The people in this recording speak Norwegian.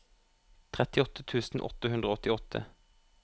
trettiåtte tusen åtte hundre og åttiåtte